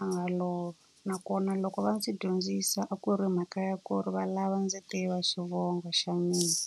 a nga lova. Nakona loko va ndzi dyondzisa a ku ri mhaka ya ku ri va lava ndzi tiva xivongo xa mina.